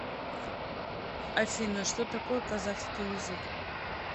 афина что такое казахский язык